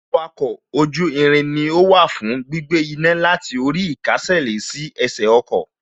Wa oko oju irin ni ó wà fún gbígbé iná láti orí īkásèlé sí ẹsẹ̀ ọkọ̀